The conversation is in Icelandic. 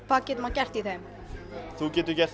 hvað getur maður gert í þeim þú getur gert